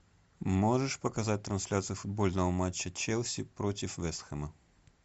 можешь показать трансляцию футбольного матча челси против вест хэма